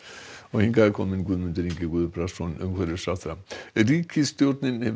hingað er kominn Guðmundur Ingi Guðbrandsson umhverfisráðherra ríkisstjórnin hefur